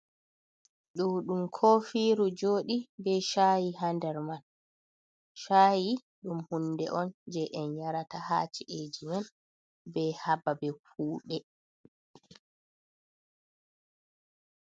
Ɗo ɗum kofiru joɗi be chayi ha ndar man, chayi ɗum hunde on je en yarata ha ci’eji men, be ha babe kuɗe.